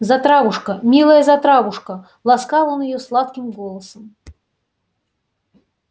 затравушка милая затравушка ласкал он её сладким голосом